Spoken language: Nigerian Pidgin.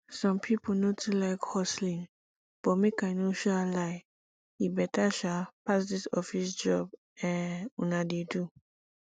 some people no too like hustling but make i no um lie e better um pass dis office job um una dey do